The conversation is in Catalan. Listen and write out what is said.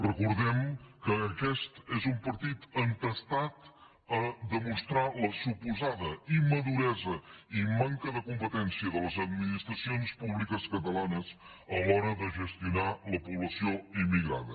recordem que aquest és un partit entestat a demos·trar la suposada immaduresa i manca de competència de les administracions públiques catalanes a l’hora de gestionar la població immigrada